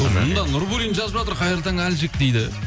мұнда нурбуллин жазып жатыр қайырлы таң әлжик дейді